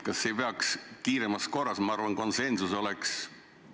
Kas ei peaks kiiremas korras midagi ette võtma?